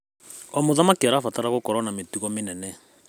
O mũthaki arabatara gũkorwo na mĩtugo mĩnene.